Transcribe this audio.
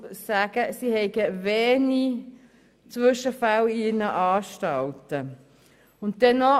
Nach ihrer Aussage gibt es in ihren Anstalten wenige Zwischenfälle.